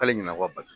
K'ale ɲina ko bali